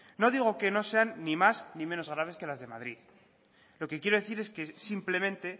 no digo que no sean ni más ni menos graves que las de madrid lo que quiero decir es que simplemente